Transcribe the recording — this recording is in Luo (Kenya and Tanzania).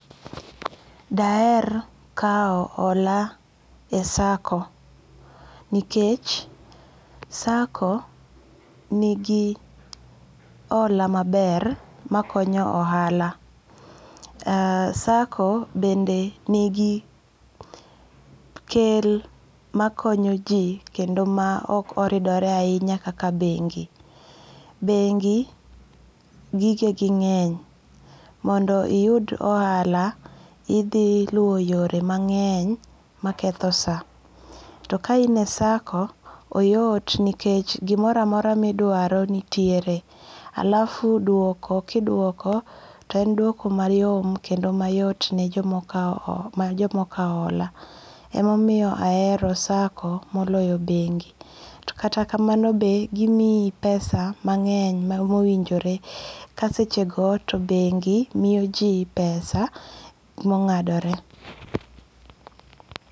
Daher kawo hola e sako nikech sako nigi hola maber makonyo ohala aa, sako bende nigi kel makonyo ji kendo ma ok oridore ahinya kaka bengi', bengi gikegi nge'ny mondo iyud ohala, othi luwo yore mange'ny maketho saa, to kaine sako oyot nikech gimoro amora ma idwaro nitiere , alafu dwoko ka idwoko to en dwoko mayom kendo mayot ne jomokawo hola, ema omiyo ahero sako ma oloyo bengi to kata kamanobe gimiyi pesa mange' mowinjore ka sechego to bengi moyoji pesa mongadore